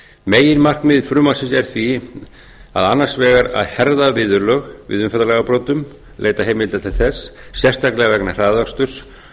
meginmarkmið frumvarpsins er því annars vegar að herða viðurlög við umferðarlagabrotum veita heimildir til þess sérstaklega vegna hraðaksturs